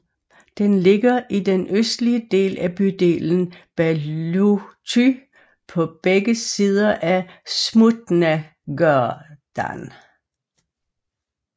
Den ligger i den østlige del af bydelen Bałuty på begge sider af Smutnagade